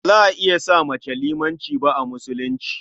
Ba za a iya sa mace limanci ba a Musulunci.